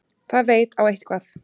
Það veit á eitthvað.